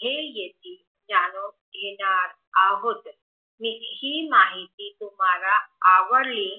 जे येथील जाणून घेणार आहोत येथली माहिती तुमाला आवडली